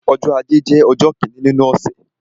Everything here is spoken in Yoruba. Ọjọ́ ajé jẹ́ ọjọ́ kíni nínú ọ̀sẹ̀.